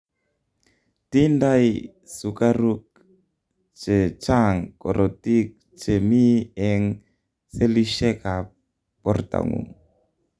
tindai sukaruk checnhang korotik che mi eng selishek ab bortangung